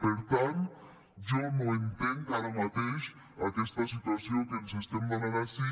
per tant jo no entenc ara mateix aquesta situació que ens estem donant ací